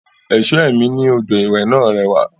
Ẹ̀ṣọ́ ẹ̀mí ní odò ìwẹ̀ náà rẹwà